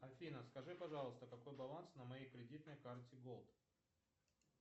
афина скажи пожалуйста какой баланс на моей кредитной карте голд